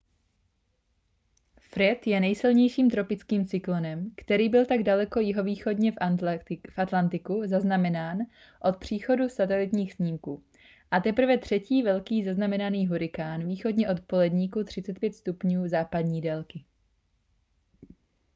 fred je nejsilnějším tropickým cyklonem který byl tak daleko jihovýchodně v atlantiku zaznamenán od příchodu satelitních snímků a teprve třetí velký zaznamenaný hurikán východně od poledníku 35° západní délky